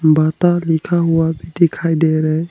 बाटा लिखा हुआ भी दिखाई दे रहे।